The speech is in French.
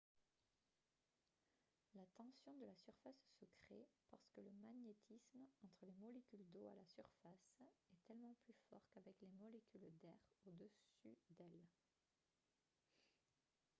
la tension de la surface se crée parce que le magnétisme entre les molécules d'eau à la surface est tellement plus fort qu'avec les molécules d'air au dessus d'elles